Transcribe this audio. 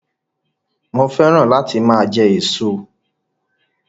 Mo féràn láti máa jẹ èso